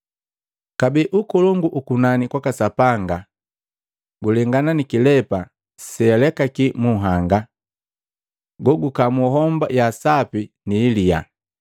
“Kabee, ukolongu ukunani kwaka Sapanga kwaka Sapanga gulengana na kilepa sealekaki mu nhanga, gogukamu homba ya sapi nihiliya.